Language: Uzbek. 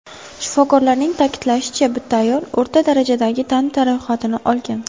Shifokorlarning ta’kidlashicha, bitta ayol o‘rta darajadagi tan jarohati olgan.